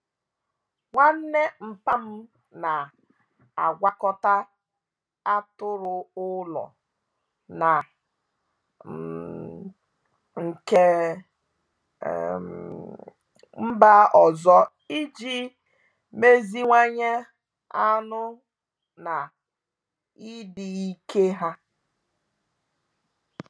Nwanne nmpa'm na-agwakọta atụrụ ụlọ na um nke um mba ọzọ iji meziwanye anụ na ịdị ike ha.